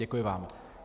Děkuji vám.